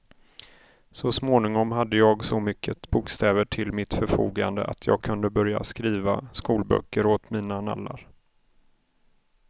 Så småningom hade jag så mycket bokstäver till mitt förfogande att jag kunde börja skriva skolböcker åt mina nallar.